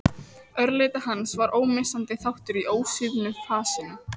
Örlæti hans var ómissandi þáttur í ósvífnu fasinu.